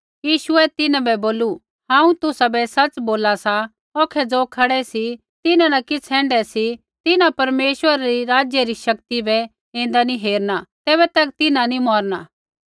यीशुऐ तिन्हां बै बोलू हांऊँ तुसाबै सच़ बोला सा औखै ज़ो खड़ै सी तिन्हां न किछ़ ऐण्ढै सी तिन्हां परमेश्वरै रै राज्य री शक्ति बै ऐन्दा नी हेरलै तैबै तक तिन्हां नी मौरना